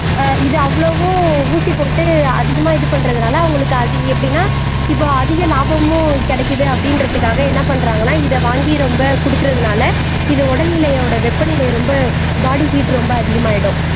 ஆஹ் இது அவ்வளவு ஊசி போட்டு அதிகமா இது பண்றதுனால அவங்களுக்கு அது எப்படின்னா இப்போ அதிக லாபமும் கிடைக்குது அப்படின்றதுக்காக என்ன பண்றாங்கன்னா இதை வாங்கி ரொம்ப குடுக்கறதுனால இது உடல்நிலையோட வெப்பநிலையை ரொம்ப பாடி ஹீட் ரொம்ப அதிகமாயிடும்